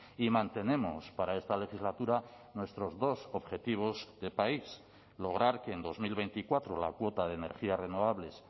y mantenemos para esta legislatura nuestros dos objetivos de país lograr que en dos mil veinticuatro la cuota de energías renovables